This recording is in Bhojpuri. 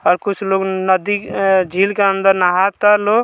आर कुछ लोग नद्दी अअ झील के अंदर नहाता लो --